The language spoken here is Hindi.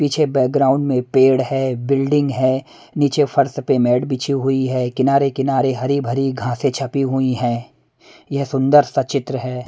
पीछे बैकग्राउंड में पेड़ है बिल्डिंग है नीचे फर्श पे मैट बिछी हुई है किनारे किनारे हरी भरी घासे छपी हुई हैं यह सुंदर सा चित्र है।